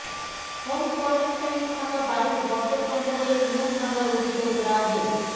home কোয়ারেন্টাইনে থাকা বাড়ির বর্জ্য সংগ্রহে নিয়ম ভাঙার অভিযোগ রাজ্য়ে